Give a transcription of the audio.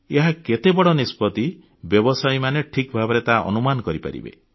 ଏହା କେତେ ବଡ଼ ନିଷ୍ପତ୍ତି ବ୍ୟବସାୟୀମାନେ ଠିକ୍ ଭାବରେ ତାହା ଅନୁମାନ କରିପାରିବେ